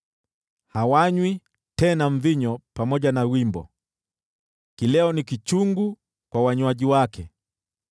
Hawanywi tena mvinyo pamoja na wimbo, kileo ni kichungu kwa wanywaji wake.